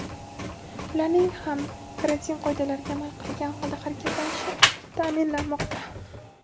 ularning ham karantin qoidalariga amal qilgan holda harakatlanishi ta’minlanmoqda.